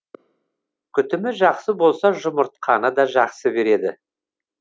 күтімі жақсы болса жұмыртқаны да жақсы береді